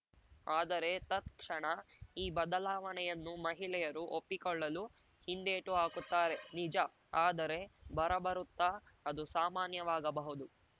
ಆದರೆ ತತ್‌ಕ್ಷಣ ಈ ಬದಲಾವಣೆಯನ್ನು ಮಹಿಳೆಯರು ಒಪ್ಪಿಕೊಳ್ಳಲು ಹಿಂದೇಟು ಹಾಕುತ್ತಾರೆ ನಿಜ ಆದರೆ ಬರಬರುತ್ತಾ ಅದು ಸಾಮಾನ್ಯವಾಗಬಹುದು